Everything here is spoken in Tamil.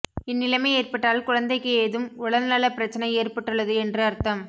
இந்நிலைமை ஏற்பட்டால் குழந்தைக்கு எதும் உடல் நல பிரச்னை ஏற்பட்டுள்ளது என்று அர்த்தம்